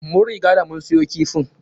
Mun riga da mun siyo kifin.